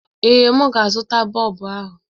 Ee, m ga-azụta bọlbụ ahụ.